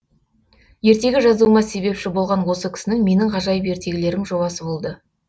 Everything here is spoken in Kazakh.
ертегі жазуыма себепші болған осы кісінің менің ғажайып ертегілерім жобасы болды